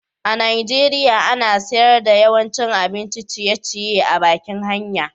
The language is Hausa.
a'Nijeriya ana sayar da yawancin abin ciye-ciye a'bakin hanya.